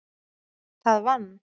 Það vann